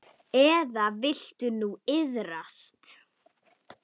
Eða viltu nú iðrast?